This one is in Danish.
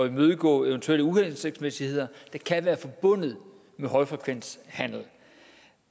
imødegå eventuelle uhensigtsmæssigheder der kan være forbundet med højfrekvenshandel